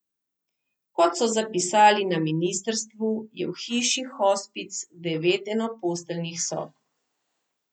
Kot so zapisali na ministrstvu, je v hiši hospic devet enoposteljnih sob.